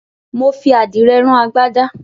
Mo fi àdìrẹ rán agbádá.